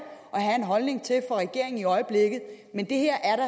at have en holdning til for regeringen i øjeblikket men det her er da